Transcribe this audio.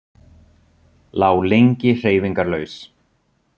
Lá lengi hreyfingarlaus.